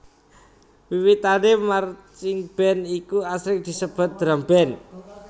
Wiwitane marchingband iku asring disebut drumband